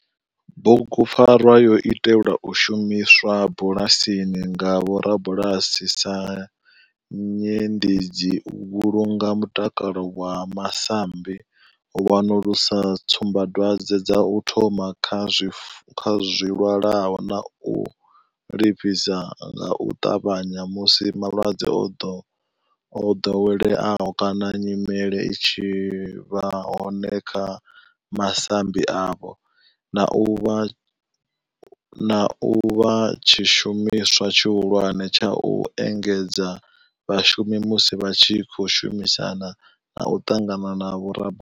Bugupfarwa yo itelwa u shumiswa bulasini nga vhorabulasi sa nyendedzi u vhulunga mutakalo wa masambi, u wanulusa tsumbadwadzwe dza u thoma kha zwilwalaho na u livhisa nga u tavhanya musi malwadze o dovheleaho kana nyimele i tshi vha hone kha masambi avho, na u vha tshishumiswa tshihulwane tsha u engedzedza vhashumi musi vha tshi khou shumisana na u ṱangana na vhorabulasi.